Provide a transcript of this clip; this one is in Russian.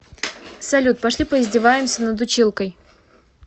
салют пошли поиздеваемся над училкой